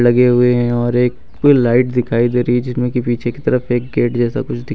हुए हैं और एक कोई लाइट दिखाई दे रही जिसमें कि पीछे की तरफ एक गेट जैसा कुछ दिखा--